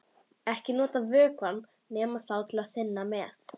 Ekki nota vökvann nema þá til að þynna með.